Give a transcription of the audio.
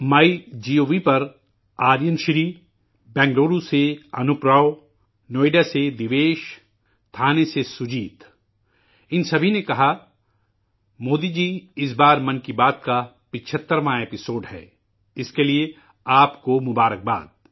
مائی گو پر آرین شری، بینگلورو سے انوپ راؤ، نوئیڈا سے دیویش، تھانے سے سجیت، ان سبھی نے کہا مودی جی اس بار 'من کی بات' کی 75ویں ہے، اسکے لیے آپ کو مبارکباد